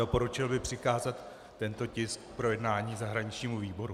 Doporučil bych přikázat tento tisk k projednání zahraničnímu výboru.